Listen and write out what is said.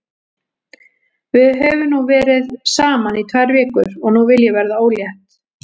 Við höfum verið saman í tvær vikur og nú vil ég verða ólétt.